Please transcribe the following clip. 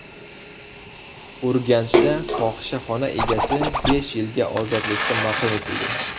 Urganchda fohishaxona egasi besh yilga ozodlikdan mahrum etildi.